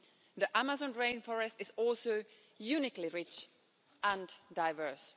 The Amazon rainforest is also uniquely rich and diverse.